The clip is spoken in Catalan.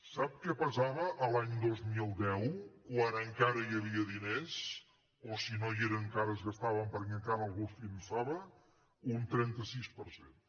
sap què pesava l’any dos mil deu quan encara hi havia diners o si no hi eren encara es gastaven perquè encara algú els finançava un trenta sis per cent